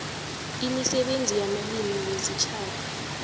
imisebenzi yamalimi wesitjhaba